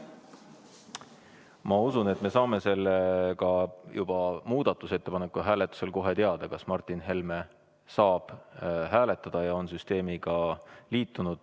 Ma usun, et me saame ka muudatusettepaneku hääletusel kohe teada, kas Martin Helme saab hääletada ja on süsteemiga liitunud.